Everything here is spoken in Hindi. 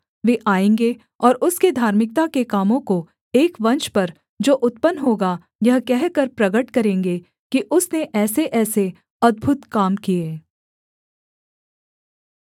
वे आएँगे और उसके धार्मिकता के कामों को एक वंश पर जो उत्पन्न होगा यह कहकर प्रगट करेंगे कि उसने ऐसेऐसे अद्भुत काम किए